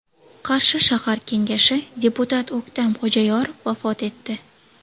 Qarshi shahar kengashi deputati O‘ktam Xo‘jayorov vafot etdi.